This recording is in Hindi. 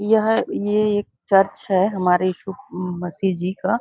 यह ये एक चर्च हैं हमारे ईशु मसीह जी का--